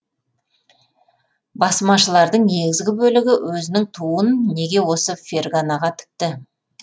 басмашылардың негізгі бөлігі өзінің туын неге осы ферғанаға тікті